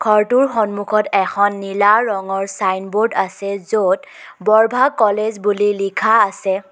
ঘৰটোৰ সন্মুখত এখন নীলা ৰঙৰ চাইনব'ৰ্ড আছে য'ত বৰভাগ কলেজ বুলি লিখা আছে।